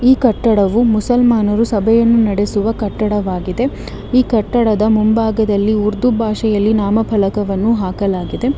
ಈ ಕಟ್ಟಡವು ಮುಸಲ್ಮಾನರು ಸಭೆಯನ್ನು ನಡೆಸುವ ಕಟ್ಟಡವಾಗಿದೆ ಈ ಕಟ್ಟಡದ ಮುಂಭಾಗದಲ್ಲಿ ಉರ್ದು ಭಾಷೆಯಲ್ಲಿ ನಾಮಫಲಕವನ್ನು ಹಾಕಲಾಗಿದೆ.